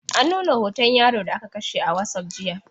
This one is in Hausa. An nuna hoton yaro da aka kashe a wasup jiya.